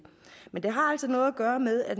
men det har altså noget at gøre med at